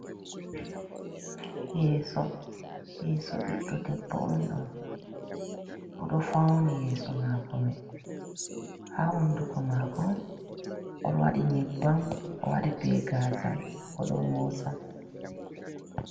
"Yeso" yeso ɓiɗdo debbo on ɗo oɗo fauni yeso mako mai ha honduko mako o waɗi nyebbam o waɗi be gazal oɗo moosa.